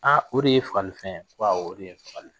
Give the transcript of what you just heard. Aa o de y'e fagalifɛn ye, ko awɔ o deye n fagalifɛn ye